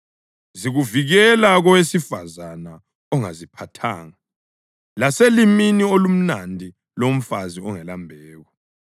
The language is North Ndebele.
zikuvikela kowesifazane ongaziphathanga, laselimini olumnandi lomfazi ongelambeko.